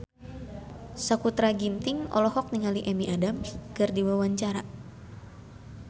Sakutra Ginting olohok ningali Amy Adams keur diwawancara